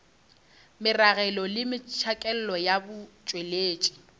meragelo le metšhakelo ya botšweletši